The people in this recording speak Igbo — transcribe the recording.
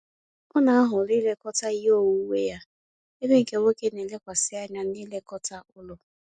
Ọ na-ahọrọ ilekọta ihe onwunwe ha, ebe nke nwoke na elekwasi anya na-ilekọta ụlọ